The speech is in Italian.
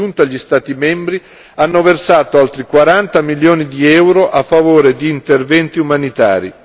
In aggiunta, gli Stati membri hanno versato altri quaranta milioni di euro a favore di interventi umanitari.